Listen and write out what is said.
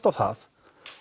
á það